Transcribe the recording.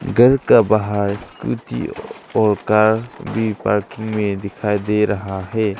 घर का बाहर स्कूटी और कार भी पार्किंग में दिखाई दे रहा है।